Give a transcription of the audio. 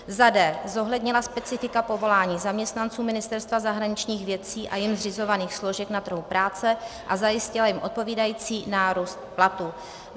d) zohlednila specifika povolání zaměstnanců Ministerstva zahraničních věcí a jím zřizovaných složek na trhu práce a zajistila jim odpovídající nárůst platů.